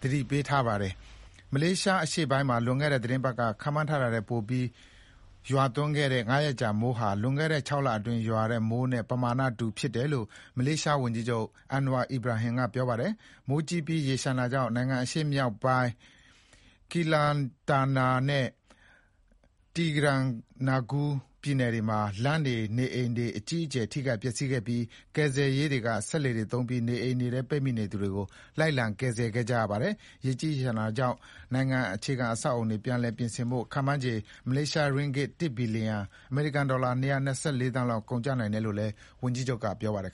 သတိပေးထားတာပါ။ မလေးရှားအရှေ့ပိုင်းမှာ လွန်ခဲ့တဲ့ သီတင်းပတ်က ခန့်မှန်းထားတာထက် ပိုပြီးရွာသွန်းခဲ့တဲ့ ၅ ရက်ကြာ မိုးဟာ လွန်ခဲ့တဲ့၆ လအတွင်းရွာတဲ့မိုးနဲ့ ပမာဏတူတယ်လို့ မလေးရှား ဝန်ကြီးချုပ် Anwar Ibrahim က ပြောပါတယ်။ မိုးကြီးပြီး ရေလျှံတာကြောင့် နိုင်ငံ အရှေ့မြောက်ပိုင်း Kelanatan (ကီလနတန်) နဲ့ Terengganu (တရီဂနူ) ပြည်နယ်တွေမှာ လမ်းတွေနေအိမ်တွေ အကြီးအကျယ် ထိခိုက်ပျက်စီးခဲ့ပြီး ကယ်ဆယ်ရေးတွေက စက်လှေတွေသုံးပြီး နေအိမ်တွေထဲ ပိတ်မိနေသူတွေကို လိုက်လံ ကယ်ဆယ်ခဲ့ရပါတယ်။ ရေကြီးရေလျှံတာကြောင့် နိုင်ငံ အခြေခံအဆောက်အအုံတွေ ပြန်လည်ပြင်ဆင်ဖို့ ခန့်မှန်းခြေ မလေးရှားရင်းဂစ် ၁ ဘီလီလျံ အမေရိကန်ဒေါ်လာ ၂၂၄ သန်းလောက် ကုန်ကျနိုင်တယ်လို့လည်း ဝန်ကြီးချုပ် Anwar က ပြောပါတယ်။